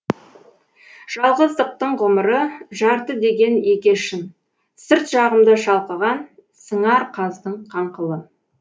жалғыздықтың ғұмыры жарты деген еге шын сырт жағымда шалқыған сыңар қаздың қаңқылы